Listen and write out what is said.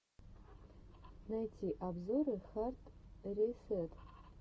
найти обзоры хард ресэт